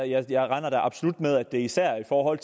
jeg jeg regner da absolut med at det især er i forhold